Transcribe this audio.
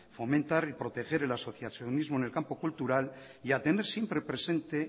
fomentar y proteger el asociacionismo en el campo cultura y a tener siempre presente